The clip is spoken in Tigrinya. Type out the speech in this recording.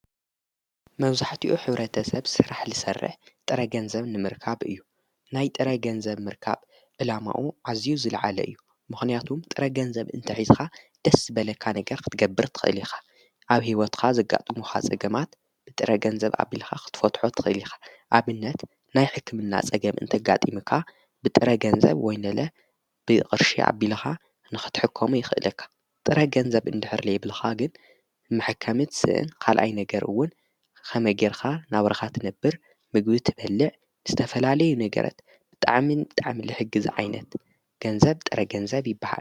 መብዛሕቲኡ ሕብረተሰብ ስራሕ ልሰርሕ ጥረ ገንዘብ ንምርካብ እዩ ናይ ጥረ ገንዘብ ምርካብ ዕላማኡ ዓዝዩ ዝለዓለ እዩ ምክንያቱ ጥረ ገንዘብ እንተሒዝኻ ደስ ዝበለካ ነገር ክትገብር ትኽእልኻ ኣብ ሕይወትካ ዘጋጡሙኻ ፀገማት ብጥረ ገንዘብ ኣቢልኻ ኽትፈትሖ ትኽእሊኻ ኣብነት ናይ ሕክምና ጸገም እንተጋጢምካ ብጥረ ገንዘብ ወይ ለ ብቕርሺ ኣቢልኻ ንኽትሕከም ይኽእልካ ጥረ ገንዘብ እንድሕር ለየብልኻ ግን ምሕከምት ስእን ኻልኣይ ነገርውን ኸመጌርካ ናብራኻ ትነብር ምግቢ ትበልዕ ዝተፈላለዩ ነገረት ብጥዓሚን ጣዓምሊ ሕጊ ዝዓይነት ገንዘብ ጥረ ገንዘብ ይበሃል።